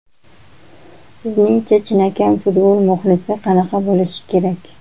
Sizningcha chinakam futbol muxlisi qanaqa bo‘lishi kerak?